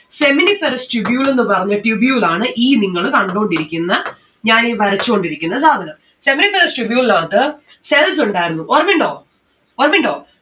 seminiferous tubule എന്ന് പറഞ്ഞ tubule ആണ് ഈ നിങ്ങള് കണ്ടോണ്ടിരിക്കുന്ന ഞാനീ വരച്ചോണ്ടിരിക്കുന്ന സാധനം. seminiferous tubule ൻ അകത്ത് cells ഉണ്ടായിരുന്നു. ഓർമിണ്ടോ? ഓർമിണ്ടോ?